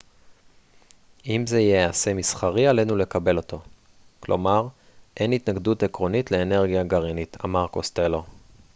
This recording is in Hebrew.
אם זה ייעשה מסחרי עלינו לקבל אותו כלומר אין התנגדות עקרונית לאנרגיה גרעינית אמר קוסטלו